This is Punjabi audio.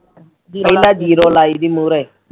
ਪਹਿਲਾ ਜੀਰੋ ਲਾਈਦੀ ਮੂਹਰੇ